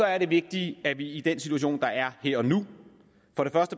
er det vigtige at vi i den situation der er her og nu